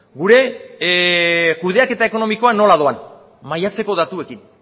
gure kudeaketa ekonomikoa nola doan maiatzeko datuekin